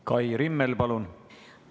Kai Rimmel, palun!